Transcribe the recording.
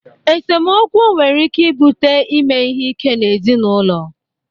Esemokwu nwere ike ibute ime ihe ike n'ezinụlọ.